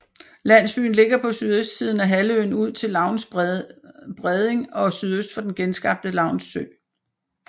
Landsbyen ligger på sydøstsiden af halvøen ud til Louns Breding og sydøst for den genskabte Lovns Sø